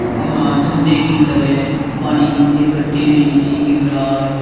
यहां झरने की तरह पानी एक गड्ढे में नीचे गिर रहा है।